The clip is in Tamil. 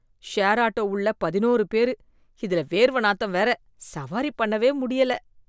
ஷேர் ஆட்டோ உள்ள பதினோரு பேரு, இதுல வேர்வை நாத்தம் வேற, சவாரி பண்ணவே முடியல.